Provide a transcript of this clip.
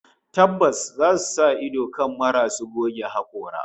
Tabbas zasu sa ido kan marasu goge hakora